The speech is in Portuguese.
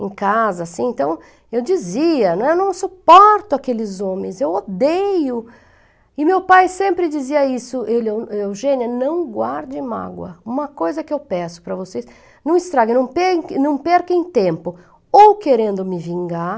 em casa, assim, então, eu dizia, eu não suporto aqueles homens, eu odeio, e meu pai sempre dizia isso, ele, Eugênia, não guarde mágoa, uma coisa que eu peço para vocês, não estraguem, não percam, não percam tempo, ou querendo me vingar,